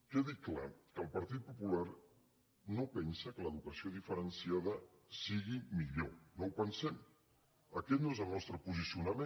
quedi clar que el partit popular no pensa que l’educació diferenciada sigui millor no ho pensem aquest no és el nostre posicionament